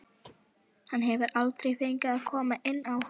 Hann hefur aldrei fengið að koma inn á.